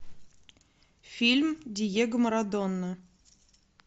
фильм диего марадона